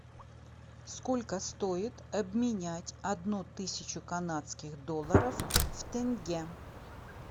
сколько стоит обменять одну тысячу канадских долларов в тенге